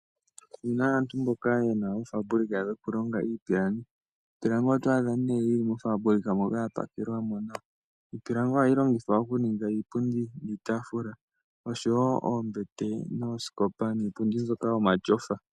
Opu na aantu mboka ye na oofaabulika dhokulonga iipilangi. Iipilangi oto adha nduno yi li mofaabulika moka ya pakelwa mo nawa. Iipilangi ohayi longithwa okuninga iipundii, iitaafula, oombete, oosikopa niipundi mbyoka yomatyofa.